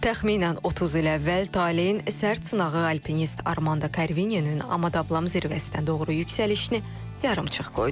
Təxminən 30 il əvvəl talehin sərt sınağı alpinist Armando Karvininin Amadablam zirvəsinə doğru yüksəlişini yarımçıq qoydu.